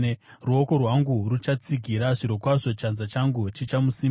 Ruoko rwangu ruchamutsigira; zvirokwazvo chanza changu chichamusimbisa.